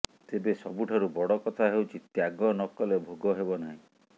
ତେବେ ସବୁଠାରୁ ବଡ଼ କଥା ହେଉଛି ତ୍ୟାଗ ନକଲେ ଭୋଗ ହେବ ନାହିଁ